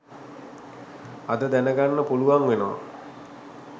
අද දැනගන්න පුලුවන් වෙනවා